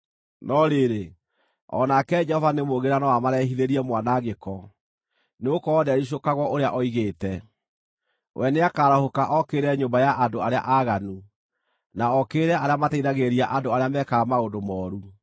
No rĩrĩ, o nake Jehova nĩ mũũgĩ na no amarehithĩrie mwanangĩko, nĩgũkorwo ndericũkagwo ũrĩa oigĩte. We nĩakarahũka okĩrĩre nyũmba ya andũ arĩa aaganu, na okĩrĩre arĩa mateithagĩrĩria andũ arĩa mekaga maũndũ mooru.